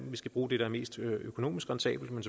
vi skal bruge det der er mest økonomisk rentabelt men